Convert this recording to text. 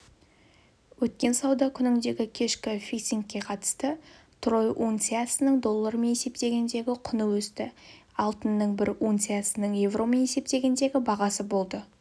өткен сауда күніндегі кешкі фиксингке қатысты трой унциясының доллармен есептегендегі құны өсті алтынның бір унциясының еуромен есептегендегі бағасы болды